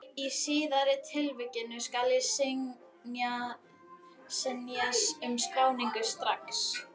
Í síðari tilvikinu skal synja um skráningu strax.